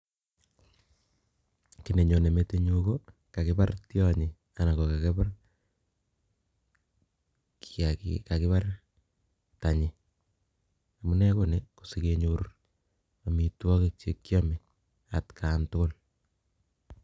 Kiy nenyone metit nyu, ko kakibar tionyi anan ko kakibar kiyagiik, kakibar tanyi. Amunee ko nii, ko sikenyor amitwogik che kiame atkaan tugul